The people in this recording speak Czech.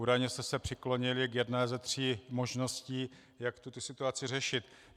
Údajně jste se přiklonili k jedné ze tří možností, jak tuto situaci řešit.